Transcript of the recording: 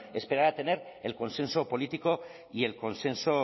esperar a tener el consenso político y el consenso